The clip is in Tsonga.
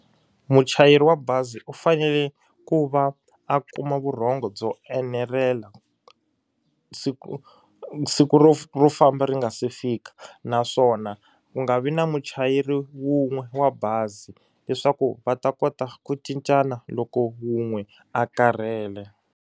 Muchayeri wa bazi u fanele ku va a kuma vurhongo byo enerela siku siku ro ro famba ri nga se fika naswona ku nga vi na muchayeri wun'we wa bazi leswaku va ta kota ku cincana loko wun'we a karhele.